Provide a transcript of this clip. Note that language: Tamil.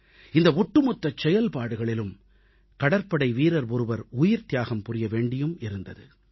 இந்த ஒட்டுமொத்தச் செயல்பாடுகளிலும் கடற்படை வீரர் ஒருவர் உயிர்த்தியாகம் புரிய வேண்டியும் இருந்தது